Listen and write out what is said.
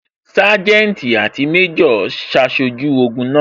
Sanjeti àti méjò ṣaṣojú ogun náà